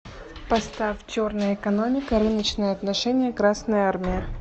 поставь черная экономика рыночные отношения красная армия